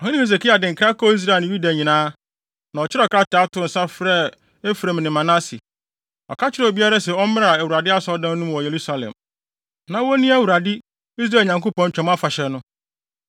Ɔhene Hesekia de nkra kɔɔ Israel ne Yuda nyinaa, na ɔkyerɛw krataa too nsa de frɛɛ Efraim ne Manase. Ɔka kyerɛɛ obiara se ɔmmra Awurade Asɔredan no mu wɔ Yerusalem, na wonni Awurade, Israel Nyankopɔn, Twam Afahyɛ no.